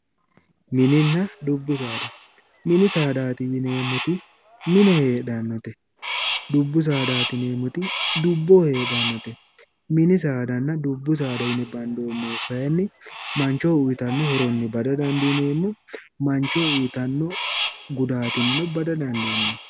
mininna dubbu saada mini saadaati yineemmoti mine heedhannote dubbu saadaati yineemmoti dubboho heedhannote mini saadanna dubbu saada yine bandoonnihu kayinni manchoho uyitanno horonni bada dandiineemmo manchoho uyitanno gudaatinnino bada dandiineemmo.